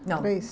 Três? Não.